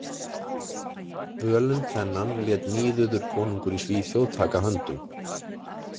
Völund þennan lét Níðuður konungur í Svíþjóð taka höndum.